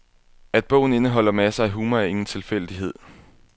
At bogen indeholder masser af humor, er ingen tilfældighed.